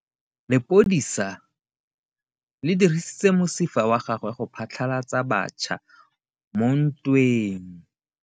Lepodisa le dirisitse mosifa wa gagwe go phatlalatsa batšha mo ntweng.